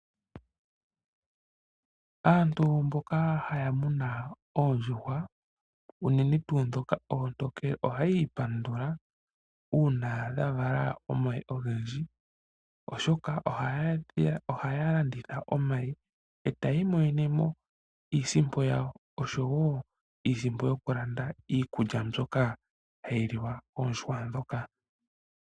Aantu mboka haya munu oondjuhwa unene ndhoka oontonkele, oshoka ohayi ipandula uuna dhavala omayi ogendji. Ohaya landitha omayi ngaka etayi imonenemo iisimpo yawo, oshowoo iisimpo mbyoka hayi landwa iikulya yokuliwa koondjuhwa.